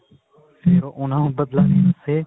ਫ਼ੇਰ ਉਹਨਾਂ ਤੋਂ ਬਦਲਾ ਲੈਣ ਵਾਸਤੇ